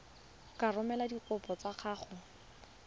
ka romela dikopo tsa gago